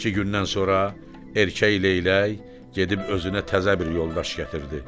İki gündən sonra erkək leylək gedib özünə təzə bir yoldaş gətirdi.